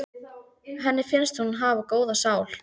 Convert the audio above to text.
Henni finnst hún hafa góða sál.